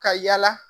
Ka yala